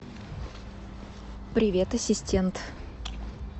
привет ассистент